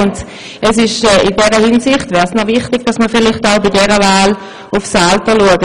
In dieser Hinsicht wäre es vielleicht bei dieser Wahl richtig, auch auf das Alter zu schauen.